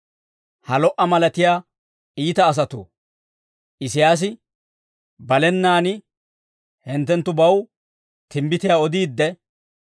Ha lo"a malatiyaa iita asatoo, Isiyaasi balenaan hinttenttubaw timbbitiyaa odiidde,